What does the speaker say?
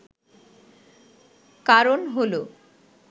কারণ হল